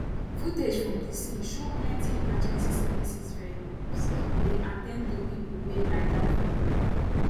footage from di scene show plenty emergency services vehicles dey at ten d to pipo wey lie down for ground